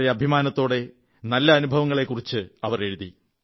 വളരെ അഭിമാനത്തോടെ നല്ല അനുഭവങ്ങളെക്കുറിച്ച് എഴുതി